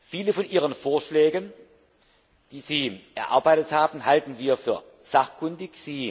Viele von Ihren Vorschlägen, die Sie erarbeitet haben, halten wir für sachkundig.